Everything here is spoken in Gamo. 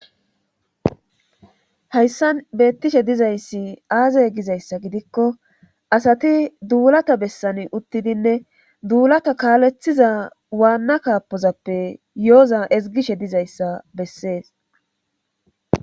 hayssan beettishe dizayssi aaza gizayssa gidikko asati duulata bessani uttidinne duulata kaalethiza waanna kaapozappe yooza ezgishe dizayssa bessees